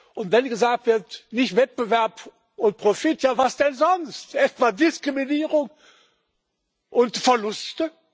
Und wenn gesagt wird nicht Wettbewerb und Profit ja, was denn sonst? Etwa Diskriminierung und Verluste?